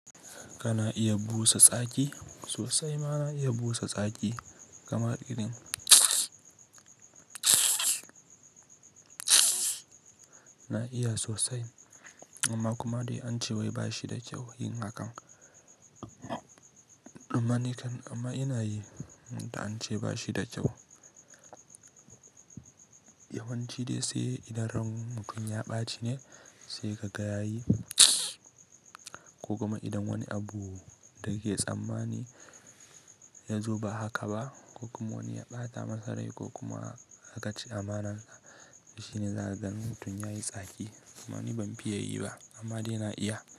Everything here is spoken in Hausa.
Kana iya busa tsaki sosai, ma na iya busa tsaki kamar irin na iya sosai. Amma kuma dai ance wai ba shi da kyau yin hakan. Amma ni kan-- amma ina yi da ance ba shi da kyau. Yawanci dai sai idan rai mutum ya ɓaci ne sai kaga yayi ko kuma idan wani abu da ke tsammani ya zo ba haka ba, ko kuma wani ya ɓata masa rai ko kuma haka ci amanar sa, shine za ka gani mutum yayi tsaki. Amma ni ban fiye yi ba amma dai na iya.